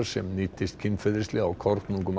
sem níddist kynferðislega á kornungum